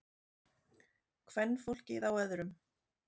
Kvenfólkið á öðrum.